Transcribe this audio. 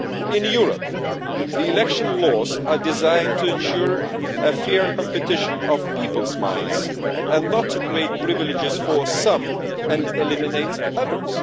In Europe the election laws are designed to ensure fair competition of people's minds, and not to create privileges for some and eliminate others.